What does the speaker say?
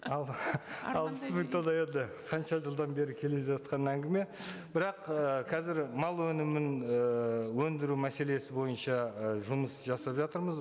ал алпыс мың тонна енді қанша жылдан бері келе жатқан әңгіме бірақ ы қазір мал өнімін і өндіру мәселесі бойынша ы жұмыс жасап жатырмыз